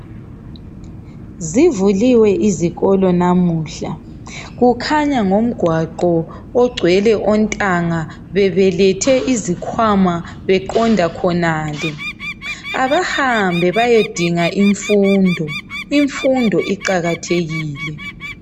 Zivuliwe izikolo namuhla kukhanya ngongwaqo ongcwele ontanga bebelethe izikwama beqonda khonale abahambe beyedinga imfundo imfundo iqakathekile